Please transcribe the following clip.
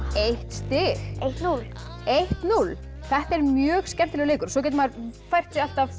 eitt stig eitt núll þetta er mjög skemmtilegur leikur og svo getur maður fært sig alltaf